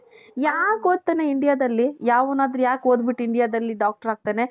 ಯಾಕ್ ಓದ್ತಾನೇ Indiaದಲ್ಲಿ ಯಾವನಾದರೂ ಯಾಕ್ ಓದ್ಬಿಟ್ಟು Indiaದಲ್ಲಿ doctor ಆಗ್ತಾನೆ.